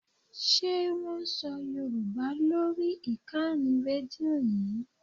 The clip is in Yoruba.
Ṣé wón ń sọ Yorùbá lórí ìkànnì Rédíò yí?